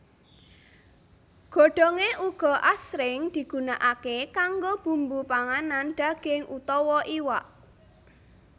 Godhongé uga asring digunakaké kanggo bumbu panganan daging utawa iwak